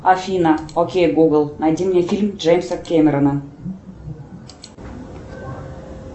афина окей гугл найди мне фильм джеймса кэмерона